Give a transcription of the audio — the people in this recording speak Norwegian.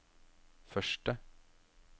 første